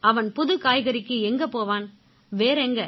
அவன் புது காய்கறிக்கு எங்க போவான் வேற எங்க